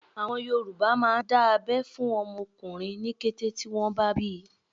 Àwọn Yorùbá máà ń dá abẹ́ fún ọmọ ọkùnrin ní kété tí wọ́n bá bíi.